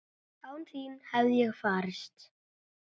Án þín hefði ég farist?